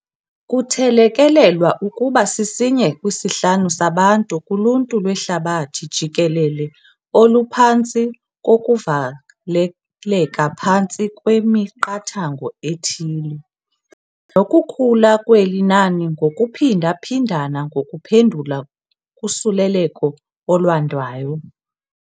Kuthelekelelwa ukuba sisinye kwisihlanu sabantu kuluntu lwehlabathi jikelele oluphantsi kokuvaleleka phantsi kwemiqathango ethile, nokukhula kweli nani ngokuphinda-phindana ngokuphendula kusuleleko olwandayo.